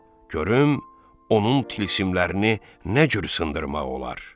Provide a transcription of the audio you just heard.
Görüm onun tilsimlərini nə cür sındırmaq olar.